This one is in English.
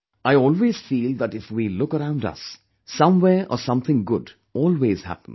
I always feel that if we look around us, somewhere or something good always happens